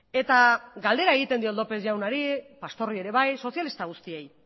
eta galdera egiten diot lópez jaunari pastorri ere bai sozialista guztiei